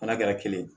N'a kɛra kelen ye